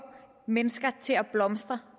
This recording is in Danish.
mennesker til at blomstre